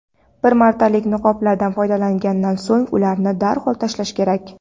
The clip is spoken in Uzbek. bir martalik niqoblardan foydalangandan so‘ng ularni darhol tashlash kerak.